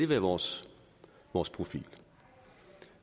være vores vores profil